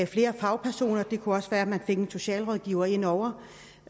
flere fagpersoner det kunne også være at der en socialrådgiver ind over